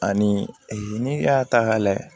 Ani n'i y'a ta k'a layɛ